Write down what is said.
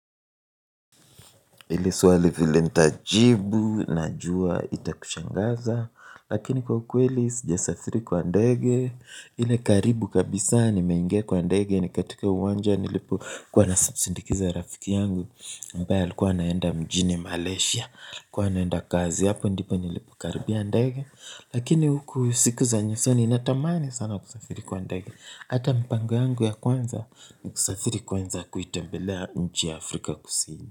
Ili swali vile nitajibu, najua itakushangaza, lakini kwa ukweli sijasafiri kwa ndege, ile karibu kabisa nimeingia kwa ndege ni katika uwanja nilipo kuwa nasindikiza rafiki yangu, ambaye alikuwa anaenda mjini Malaysia, alikuwa anaenda kazi hapo ndipo nilipo karibia ndege, lakini huku siku za nyusoni ninatamani sana kusafiri kwa ndege, hata mpango yangu ya kwanza, kusafiri kwanza kuitembelea nchi ya Afrika kusini.